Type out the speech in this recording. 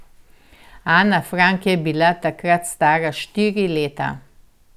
Ana Frank je bila takrat stara štiri leta.